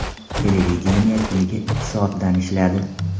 Televideniye kuniga ikki soatdan ishladi.